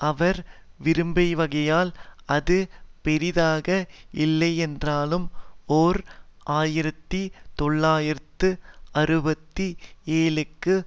அவர் விரும்பியவகையில் அது பெரிதாக இல்லையென்றாலும் ஓர் ஆயிரத்தி தொள்ளாயிரத்து அறுபத்தி ஏழுக்கு